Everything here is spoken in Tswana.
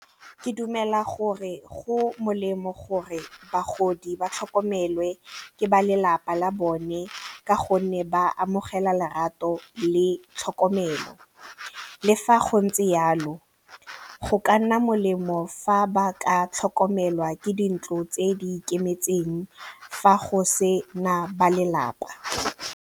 Ke dumela gore go molemo gore bagodi ba tlhokomelwe ke ba lelapa la bone ka gonne ba amogela lerato le tlhokomelo le fa go ntse jalo go ka nna molemo fa ba ka tlhokomelwa ke dintlo tse di ikemetseng fa go sena ba lelapa.